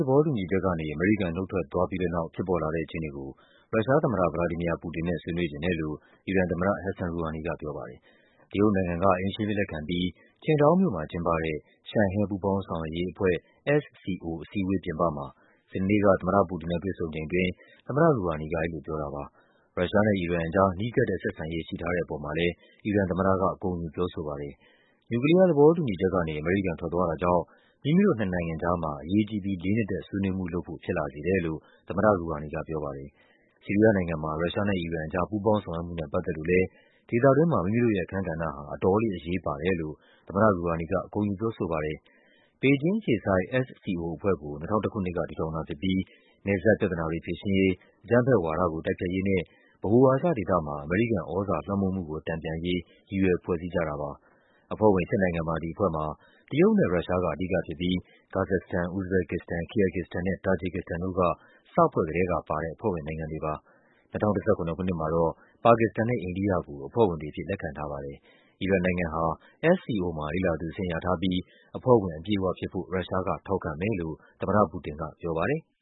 သဘောတူညီချက်ကနေ အမေရိကန် နုတ်ထွက်သွားပြီးတဲ့နောက် ဖြစ်ပေါ်လာတဲ့ အခြေအနေကို ရုရှားသမ္မတ ဗလာဒီမီယာ ပူတင်နဲ့ ဆွေးနွေးချင်တယ်လို့ အီရန်သမ္မတ ဟက်ဆန် ရူဟာနီက ပြောပါတယ်။ တရုတ်နိုင်ငံက အိမ်ရှင်အဖြစ် လက်ခံပြီး Qingdao မြို့မှာကျင်းပတဲ့ ရှန်ဟဲ ပူးပေါင်းဆောင်ရွက်ရေးအဖွဲ့ SCO အစည်းအဝေး ပြင်ပမှာ စနေနေ့က သမ္မတပူတင်နဲ့ တွေ့ဆုံချိန်အစမှာ သမ္မတ ရူဟာနီက အဲဒီလိုပြောတာပါ။ ရုရှားနဲ့ အီရန်အကြား နီးကပ်တဲ့ ဆက်ဆံရေး ရှိထားတဲ့အပေါ်မှာလည်း အီရန်သမ္မတက ဂုဏ်ယူပြောဆိုပါတယ်။ နျူကလီးယားသဘောတူညီချက်ကနေ အမေရိကန်ထွက်သွားတာကြောင့် “မိမိတို့ နှစ်နိုင်ငံကြားမှာ အရေးကြီးပြီး လေးနက်တဲ့ ဆွေးနွေးမှု” လုပ်ဖို့ ဖြစ်လာစေတယ်လို့ သမ္မတ ရူဟာနီကပြောပါတယ်။ ဆီးရီးယားနိုင်ငံမှာ ရုရှားနဲ့ အီရန်ကြား ပူးပေါင်းဆောင်ရွက်မှုနဲ့ ပတ်သက်လို့လည်း “ဒေသတွင်းမှာ မိမိတို့ရဲ့ အခန်းကဏ္ဍဟာ အတော်လေး အရေးပါတယ်” လို့ သမ္မတ ရူဟာနီက ဂုဏ်ယူပြောဆိုပါတယ်။ ဘေဂျင်းအခြေစိုက် SCO အဖွဲ့ကို ၂၀၀၁ ခုနှစ်က တည်ထောင်တာဖြစ်ပြီး နယ်စပ်ပြဿနာတွေ ဖြေရှင်းရေး၊ အကြမ်းဖက်ဝါဒကို တိုက်ဖျက်ရေးနဲ့ ဗဟိုအာရှဒေသမှာ အမေရိကန်သြဇာလွှမ်းမိုးမှုကို တန်ပြန်ရေး ရည်ရွယ် ဖွဲ့စည်းကြတာပါ။ အဖွဲ့ဝင် ၈ နိုင်ငံပါ ဒီအဖွဲ့မှာ တရုတ်နဲ့ ရုရှားက အဓိကဖြစ်ပြီး ကာဇက်စတန်၊ ဥဇဘက်ကစ္စတန်၊ ကီယာဂစ္စတန်နဲ့ တာဂျစ်ကစ္စတန်တို့က စဖွဲ့ ကတည်းကပါတဲ့ အဖွဲ့ဝင်နိုင်ငံတွေပါ။ ၂၀၁၇ ခုနှစ်မှာတော့ ပါကစ္စတန်နဲ့ အိန္ဒိယကို အဖွဲ့ဝင်တွေအဖြစ် လက်ခံထားပါတယ်။ အီရန်နိုင်ငံက SCO မှာ လေ့လာသူအဆင့်ရထားပြီး အဖွဲ့ဝင်အပြည့်အဝဖြစ်ဖို့ ရုရှားကထောက်ခံမယ်လို့ သမ္မတပူတင်က ပြောပါ တယ်။